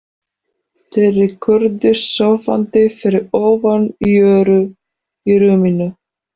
Týri kúrði sofandi fyrir ofan Jóru í rúminu.